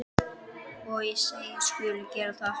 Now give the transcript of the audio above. Og ég segist skulu gera það.